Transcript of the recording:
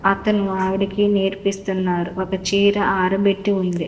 అతను ఆవిడకి నేర్పిస్తున్నారు ఒక చీర ఆరబెట్టి ఉంది.